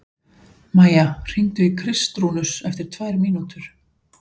Maía, hringdu í Kristrúnus eftir tvær mínútur.